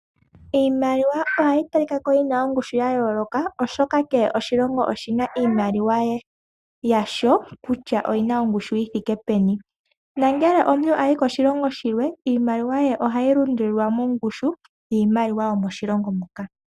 Iimaliwa ohayi talikako yina ongushu ya yooloka oshoka kehe oshilongo oshina iimaliwa yasho kutya oyina ongushu yithike peni. Ngele omuntu ayi koshilongo shimwe iimaliwa ye ohayi lundululilwa mongushu yiimaliwa yomoshilongo mo.